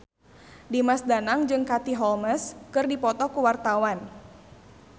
Dimas Danang jeung Katie Holmes keur dipoto ku wartawan